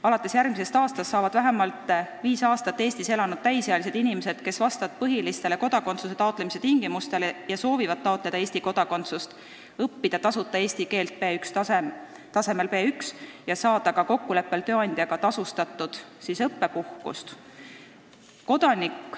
Alates järgmisest aastast saavad vähemalt viis aastat Eestis elanud täisealised inimesed, kes vastavad põhilistele kodakondsuse taotlemise tingimustele ja soovivad taotleda Eesti kodakondsust, õppida eesti keelt tasuta tasemel B1 ja kokkuleppel tööandjaga ka tasustatud õppepuhkust.